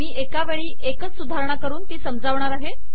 मी एका वेळी एक सुधारणा करुन ती समजावणार आहे